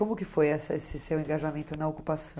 Como que foi essa esse seu engajamento na ocupação?